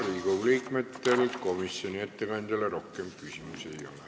Riigikogu liikmetel komisjoni ettekandjale rohkem küsimusi ei ole.